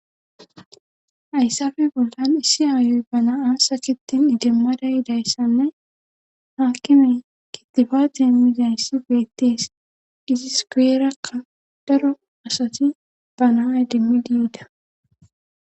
Hayssafe bollan issi aayoy ba na7a sakettin idimmada yidayssanne haakime kitibate emmizayssi beettees giziskueerakka daro asati banaay dimmidi yida.